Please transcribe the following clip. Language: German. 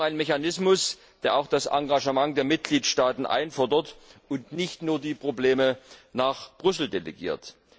Wir brauchen einen Mechanismus, der auch das Engagement der Mitgliedstaaten einfordert, und nicht nur die Probleme nach Brüssel delegiert.